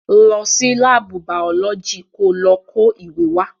Lọ sí láàbù bàọ́lọ́jì ko lọ kó ìwé wá.